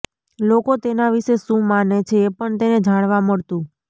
લોકો તેના વિષે શું માને છે એ પણ તેને જાણવા મળતું